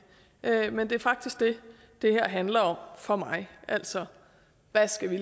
men det er faktisk det det her handler om for mig altså hvad skal vi